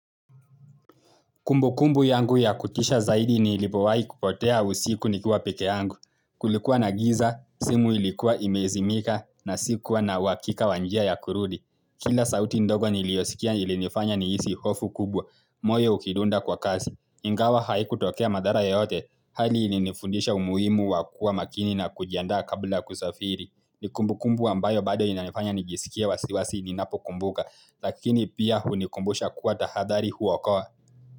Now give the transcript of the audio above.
Kumbukumbu yangu ya kutisha zaidi ni nilipowahi kupotea usiku nikiwa peke yangu. Kulikuwa na giza, simu ilikuwa imezimika na sikuwa na uhakika wa njia ya kurudi. Kila sauti ndogo niliyosikia ilinifanya nihisi hofu kubwa, moyo ukidunda kwa kasi. Ingawa haikutokea madhara yaote, hali ilinifundisha umuhimu wakuwa makini na kujiandaa kabla ya kusafiri. Ni kumbukumbu ambayo bado inanifanya nijisikie wasiwasi ninapokumbuka, lakini pia hunikumbusha kuwa tahadhari huokoa.